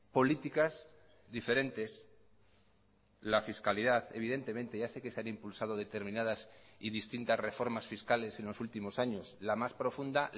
políticas diferentes la fiscalidad evidentemente ya sé que se han impulsado determinadas y distintas reformas fiscales en los últimos años la más profunda